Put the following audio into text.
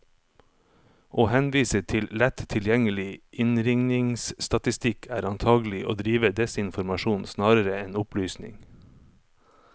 Å henvise til lett tilgjengelig innringningsstatistikk, er antagelig å drive desinformasjon snarere enn opplysning.